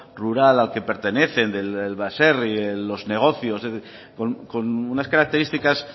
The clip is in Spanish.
rural al que pertenecen del baserri de los negocios con unas características